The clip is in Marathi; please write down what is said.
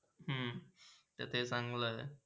त ते चांगला आहे.